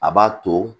A b'a to